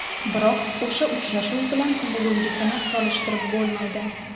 Biroq o‘sha uchrashuv bilan bugungisini solishtirib bo‘lmaydi.